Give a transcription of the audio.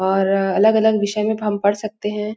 और अलग-अलग विषय में तो हम पढ़ सकते है।